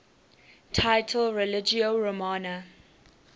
title religio romana